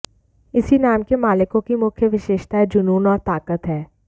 इस नाम के मालिकों की मुख्य विशेषताएं जुनून और ताकत हैं